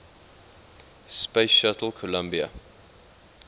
space shuttle columbia